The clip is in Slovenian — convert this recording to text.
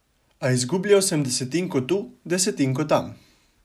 A izgubljal sem desetinko tu, desetinko tam.